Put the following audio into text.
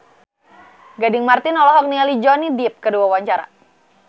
Gading Marten olohok ningali Johnny Depp keur diwawancara